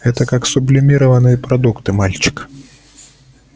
это как сублимированные продукты мальчик